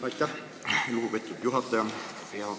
Aitäh, lugupeetud juhataja!